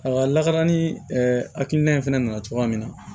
A lakana ni hakilina in fana nana cogoya min na